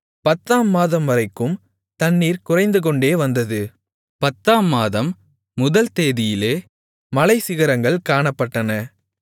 பத்தாம் மாதம்வரைக்கும் தண்ணீர் குறைந்துகொண்டே வந்தது பத்தாம் மாதம் முதல் தேதியிலே மலைச்சிகரங்கள் காணப்பட்டன